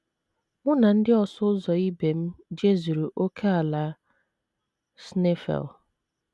Mụ na ndị ọsụ ụzọ ibe m jezuru ókèala Schneifel.